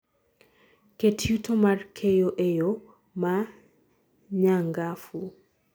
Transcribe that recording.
ket yuto mar keyo eyo ma nyangafu